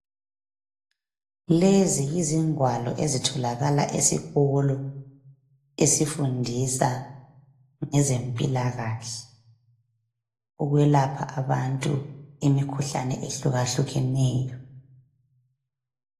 Lezi yizingwalo ezitholakala esikolo. Esifundisa ngezempilakahle, ukwelapha abantu imikhuhlane ehlukahlukeneyo.